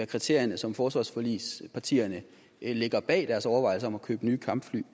kriterierne som forsvarsforligspartierne lægger bag deres overvejelser om at købe nye kampfly